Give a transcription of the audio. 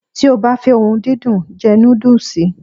Ti o ba fe ohun dundun, je nudus